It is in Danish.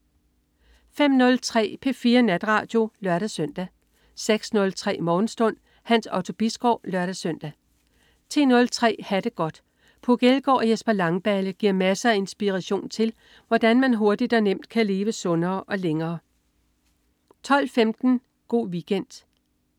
05.03 P4 Natradio (lør-søn) 06.03 Morgenstund. Hans Otto Bisgaard (lør-søn) 10.03 Ha' det godt. Puk Elgård og Jesper Langballe giver masser af inspiration til, hvordan man hurtigt og nemt kan leve sundere og længere 12.15 Go' Weekend